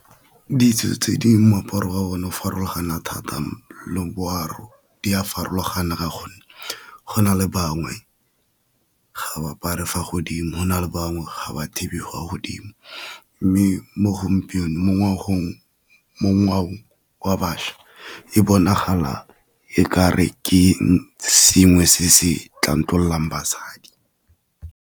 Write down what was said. Ditso tse di moaparo wa o ne o farologana thata di a farologana ka gonne go na le bangwe ga ba apare fa godimo, gona le bangwe ga ba thibe fa godimo. Mme mo gompieno mo ngwao wa bašwa e bonagala e kare ke sengwe se se tlontlololang basadi.